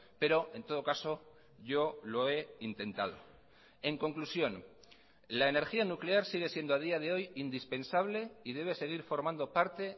pero en todo caso yo lo he intentado en conclusión la energía nuclear sigue siendo a día de hoy indispensable y debe seguir formando parte